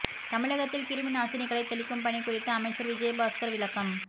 தமிழகத்தில் கிருமி நாசினிகளை தெளிக்கும் பணி குறித்து அமைச்சர் விஜயபாஸ்கர் விளக்கம்